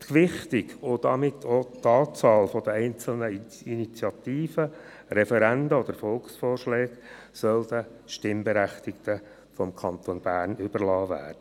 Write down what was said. Die Gewichtung und damit auch die Anzahl der einzelnen Initiativen, Referenden oder Volksvorschlägen soll den Stimmberechtigten des Kantons Bern überlassen werden.